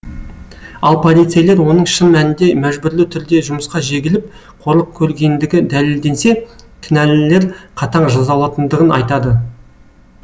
ал полицейлер оның шын мәнінде мәжбүрлі түрде жұмысқа жегіліп қорлық көргендігі дәлелденсе кінәлілер қатаң жазаланатындығын айтады